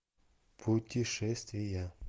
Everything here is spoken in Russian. путешествия